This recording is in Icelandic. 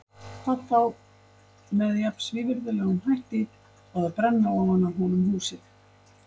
Hvað þá með jafn svívirðilegum hætti og að brenna ofan af honum húsið.